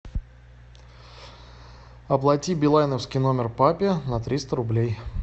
оплати билайновский номер папе на триста рублей